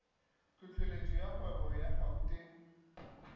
tlhohleletšo ya kgwebo ya gauteng